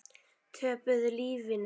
Töpuðu lífinu.